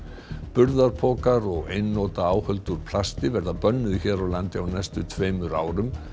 burðarpokar og einnota áhöld úr plasti verða bönnuð hér á landi á næstu tveimur árum